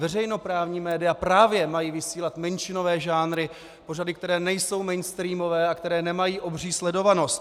Veřejnoprávní média právě mají vysílat menšinové žánry, pořady, které nejsou mainstreamové a které nemají obří sledovanost.